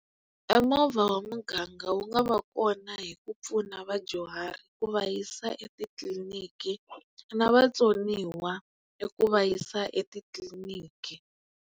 E movha wa muganga wu nga va kona hi ku pfuna vadyuhari ku va yisa etitliliniki na vatsoniwa eku va yisa etitliliniki.